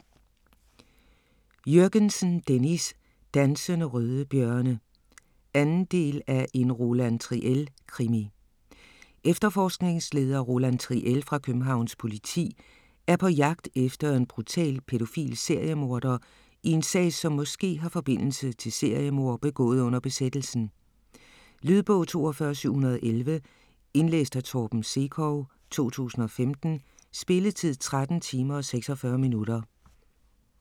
Jürgensen, Dennis: Dansende røde bjørne 2. del af En Roland Triel krimi. Efterforskningsleder Roland Triel fra Københavns politi er på jagt efter en brutal pædofil seriemorder i en sag som måske har forbindelse til seriemord begået under besættelsen. Lydbog 42711 Indlæst af Torben Sekov, 2015. Spilletid: 13 timer, 46 minutter.